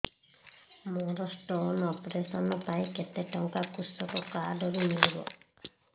ମୋର stone operation ପାଇଁ କେତେ ଟଙ୍କା କୃଷକ କାର୍ଡ ରୁ ମିଳିବ